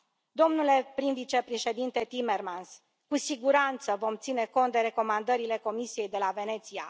Domnule prim vicepreședinte Timmermans, cu siguranță vom ține cont de recomandările Comisiei de la Veneția.